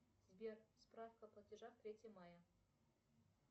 сбер справка платежа третье мая